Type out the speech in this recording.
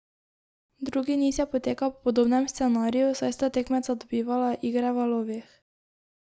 Drugi niz je potekal po podobnem scenariju, saj sta tekmeca dobivala igre v valovih.